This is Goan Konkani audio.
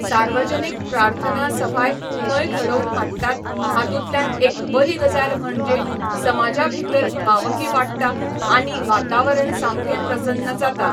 सावर्जनीक प्रार्थना सभाय थंय घडोवन हाडटात हातुंतल्यान एक बरी गजाल म्हणजे समाजा भितर भावकी वाडटा आनी वातावरण सामकें प्रसन्न जाता